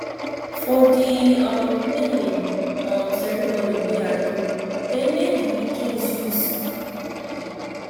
for the um naming um ceremony wey i go they name the pikin zeus